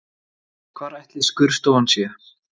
Hvar ætli skurðstofan sé?